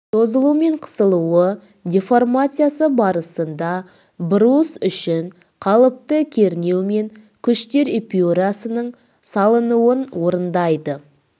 созылу мен қысылуы деформациясы барысында брус үшін қалыпты кернеу мен күштер эпюрасының салынуын орындайды